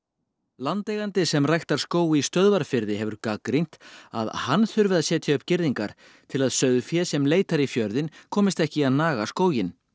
landeigandi sem ræktar skóg í Stöðvarfirði hefur gagnrýnt að hann þurfi að setja upp girðingar til að sauðfé sem leitar í fjörðinn komist ekki í að naga skóginn